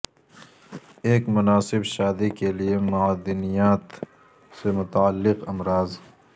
ایک مناسب شادی کے لئے معدنیات سے متعلق امراض